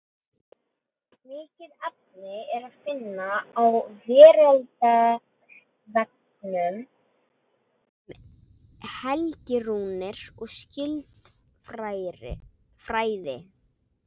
Mikið efni er að finna á Veraldarvefnum um helgirúnir og skyld fræði.